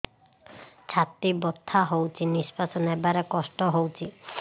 ଛାତି ବଥା ହଉଚି ନିଶ୍ୱାସ ନେବାରେ କଷ୍ଟ ହଉଚି